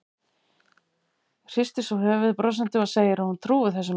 Hristir svo höfuðið brosandi og segir að hún trúi þessu nú ekki.